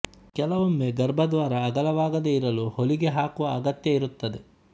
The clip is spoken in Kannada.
ಕೆಲವೊಮ್ಮೆ ಗರ್ಭದ್ವಾರ ಅಗಲವಾಗದೇ ಇರಲು ಹೊಲಿಗೆ ಹಾಕುವ ಅಗತ್ಯ ಇರುತ್ತದೆ